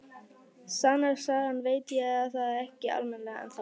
Sannast sagna veit ég það ekki almennilega ennþá.